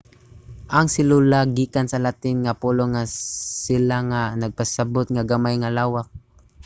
ang selula gikan sa latin nga pulong nga cella nga nagpasabot nga gamay nga lawak